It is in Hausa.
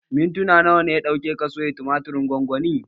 Mintuna nawa ya ɗauke ka soya tumatirin gwangwanin?